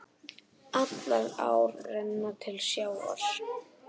Allar ár renna til sjávar.